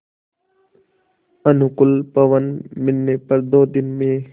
अनुकूल पवन मिलने पर दो दिन में